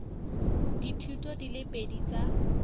dithuto di le pedi tsa